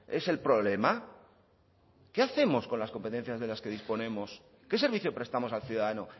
es el problema qué hacemos con las competencias de las que disponemos qué servicio prestamos al ciudadano